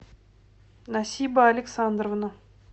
насиба александровна